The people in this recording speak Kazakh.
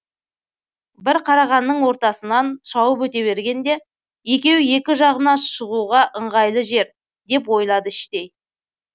бір қарағанның ортасынан шауып өте бергенде екеуі екі жағымнан шығуға ыңғайлы жер деп ойлады іштей